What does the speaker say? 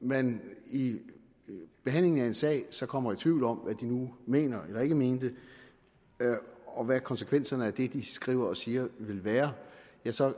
man i behandlingen af en sag så kommer i tvivl om hvad de nu mener eller ikke mener og hvad konsekvenserne af det de skriver og siger vil være ja så